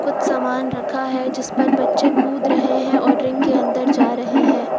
कुछ सामान रखा है जिस पर बच्चे कूद रहे हैं और रिंग के अंदर जा रहे हैं।